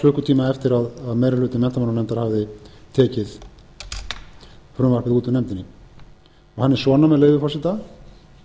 klukkutíma eftir að meiri hluti menntamálanefndar hafði tekið frumvarpið út úr nefndinni ha a er svona með leyfi forseta